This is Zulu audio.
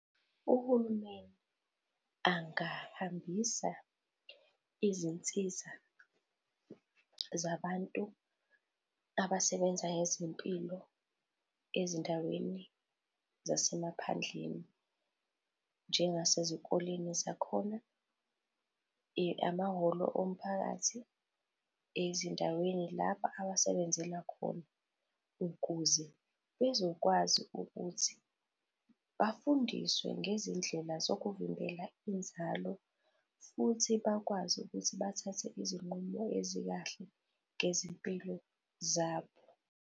Uhulumeni angahambisa izinsiza zabantu abasebenza ngezempilo ezindaweni zasemaphandleni njengasezikoleni zakhona, amahholo omphakathi, ezindaweni laba abasebenzela khona. Ukuze bezokwazi ukuthi bafundiswe ngezindlela zokuvimbela inzalo futhi bakwazi ukuthi bathathe izinqumo ezikahle ngezimpilo zabo.